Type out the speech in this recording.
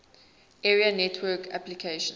area network applications